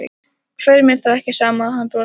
Hverjum er þá ekki sama að hann brosi ekki?